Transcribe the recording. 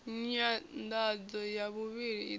nyanḓadzo ya vhuvhili i ḓo